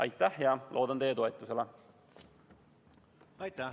Aitäh ja loodan teie toetusele!